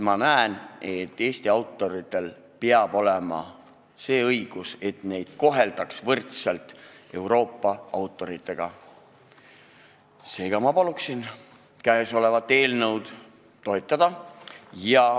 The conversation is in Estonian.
Ma näen, et Eesti autoritel peab olema see õigus, et neid koheldaks võrdselt Euroopa autoritega, seega ma palun seda eelnõu toetada.